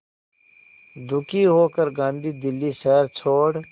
दुखी होकर गांधी दिल्ली शहर छोड़